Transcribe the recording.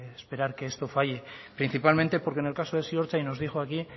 esperar que esto falle principalmente porque en el caso de ziortza y nos dijo aquí